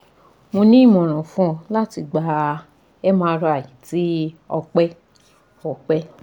Mo ni imọran fun ọ lati gba MRI ti ọpẹ ọpẹ